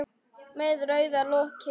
Með rauðu loki.